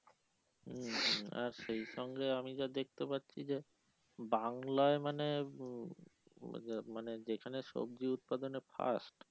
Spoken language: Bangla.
হম হম আচ্ছা এই সঙ্গে আমি যা দেখতে পাচ্ছি যে বাংলায় মানে ওইযে মানে যেখানে সবজি উৎপাদনের ফাস্ট